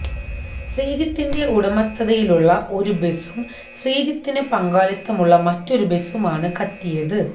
ശ്രീജിത്തിന്റെ ഉടമസ്ഥതയിലുള്ള ഒരു ബസും ശ്രീജിത്തിന് പങ്കാളിത്തമുള്ള മറ്റൊരു ബസുമാണ് കത്തിയത്